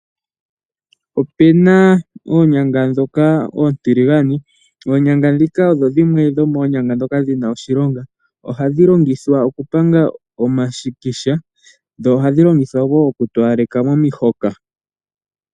Opena oonyanga ndhoka oontiligane oonyanga dhika odho dhimwe dhomoonyanga dhoka dhina oshilonga ohadhi longithwa oku panga omashikisha dho ohadhi longithwa woo oku towaleka momihoka.